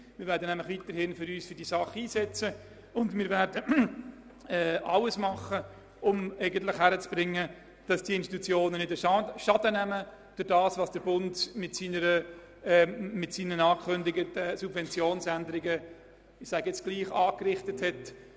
Wir werden uns nämlich weiterhin in dieser Angelegenheit einsetzen, und wir werden alles tun, um diesen Institutionen möglichst viel vom Schaden zu ersparen, den der Bund mit seinen angekündigten Subventionsänderungen angerichtet hat;